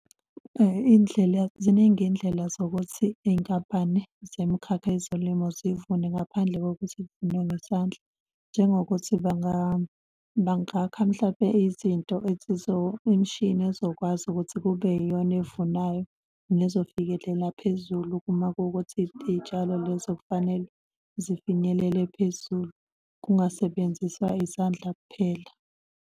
Iy'ndlela ziningi iy'ndlela zokuthi Iy'nkampani zemikhakha yezolimo zivune ngaphandle kokuthi kuvunwe ngesandla njengokuthi bangakha mhlampe izinto imishini ezokwazi ukuthi kube yiyona evunayo nezofikelela phezulu uma kuwukuthi iy'tshalo lezo kufanele zifinyelele phezulu kungasebenziswa izandla kuphela.